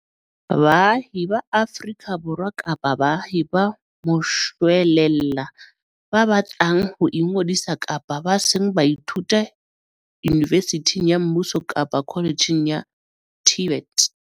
Baahi ba Afrika Borwa kapa baahi ba moshwelella ba batlang ho ingodisa kapa ba seng ba ithuta yunivesithing ya mmuso kapa kholetjheng ya TVET.